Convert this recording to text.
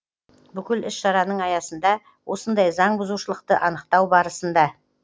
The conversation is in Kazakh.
бүкіл іс шараның аясында осындай заңбұзушылықты анықтау барысында